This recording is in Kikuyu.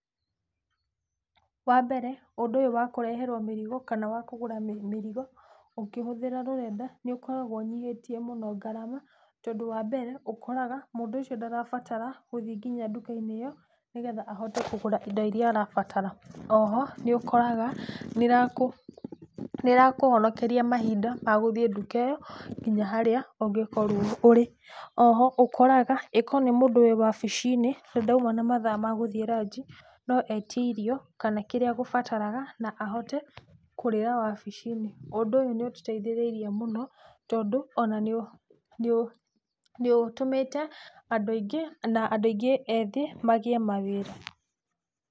Wa mbere ũndũ ũyũ wa kũreherwo mĩrigo ,kana kũgũra mĩrigo, ũkĩhũthĩra rũrenda nĩ ũkoragwo ũnyihĩtie mũno ngarama. Tondũ wa mbere, ũkoraga atĩ mũndũ ũcio ndarabatara gũthiĩ ndũka-inĩ ĩyo nĩgetha ahote kũgũra indo iria arabatara, oho nĩ ũkoraga, nĩ ĩrakũhonokeria mahinda magũthiĩ ndũka ĩo nginya harĩa ũngĩkorwo ũrĩ. Oho ũkoraga okorwo nĩ mũndũ wĩ wabici-inĩ ndaũma na mathaa magũthiĩ raji no etie irio kana kĩrĩa agũbataraga nĩgetha ahote kũrĩra wabici-inĩ. Ũndũ ũyũ nĩ ũtũ teithĩrĩrie mũno, tondũ ona nĩ ũtũmĩte andũ aingĩ na andũ aingĩ ethĩ magĩĩ mawĩra.